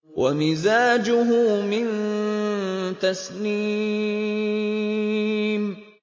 وَمِزَاجُهُ مِن تَسْنِيمٍ